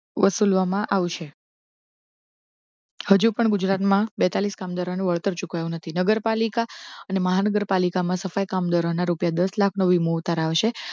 વસુલવા માં આવશે હજુ પણ ગુજરાતમાં બેતાળીસ કામદારો ને વળતર ચૂકવાયુ નથી. નગરપાલિકા અને મહાનગરપાલિકા માં સફાઈ કામદારો ના રૂપિયા દસ લાખ નો વીમો ઉતરાવશે.